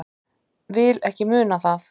Vil ekki muna það.